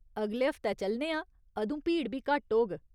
अगले हफ्तै चलने आं, अदूं भीड़ बी घट्ट होग।